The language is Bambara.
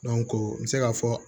n bɛ se ka fɔ